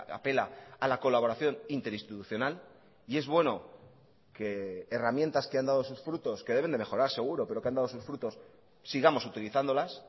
apela a la colaboración interinstitucional y es bueno que herramientas que han dado sus frutos que deben de mejorar seguro pero que han dado sus frutos sigamos utilizándolas